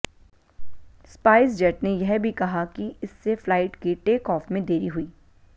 SpiceJet ने यह भी कहा कि इससे फ्लाइट के टेकऑफ में देरी हुई